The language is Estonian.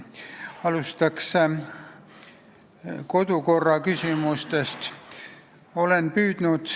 Alustan kodukorraküsimustest.